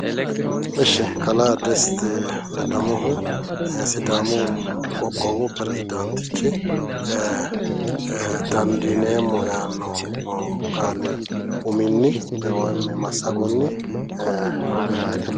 Ishi kalaa desiti ledamohu sidaamu qoqqowi piresidaantichi dandiineemmo yaanno qaali uminni woyim massagonni oggeeyyete...